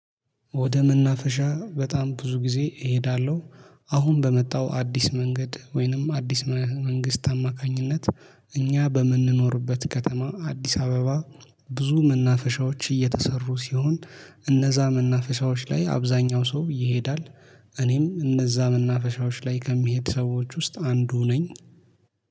ወደ መናፈሻ በጣም ብዙ ጊዜ እሄዳለሁ። አሁን በመጣው አዲስ መንገድ ወይንም አዲስ መንግስት አማካኝነት እኛ በምንኖርበት ከተማ አዲስ አበባ። ብዙ መናፈሻዎች እየተሰሩ ሲሆን እነዛ መናፈሻዎች ላይ አብዛኛው ሰው ይሄዳል። እኔም እነዛ መናፈሻዎች ላይ ከሚሄድ ሰዎች ውስጥ አንዱ ነኝ